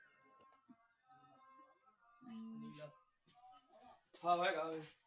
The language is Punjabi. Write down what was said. ਹਨ